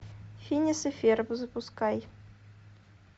финес и ферб запускай